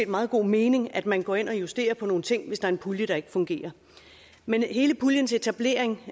meget god mening at man går ind og justerer nogle ting hvis der er en pulje der ikke fungerer men hele puljen til etablering